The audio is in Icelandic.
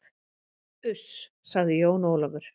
Uss, sagði Jón Ólafur.